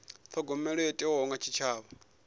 thogomelo yo thewaho kha tshitshavha